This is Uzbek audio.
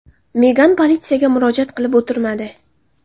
Megan politsiyaga murojaat qilib o‘tirmadi.